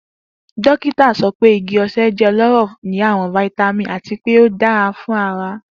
Dokita sọ pe igi ose jẹ ọlọrọ ni awọn vitamin ati pe o dara fun ara.